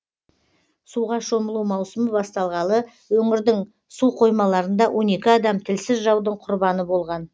суға шомылу маусымы басталғалы өңірдің су қоймаларында он екі адам тілсіз жаудың құрбаны болған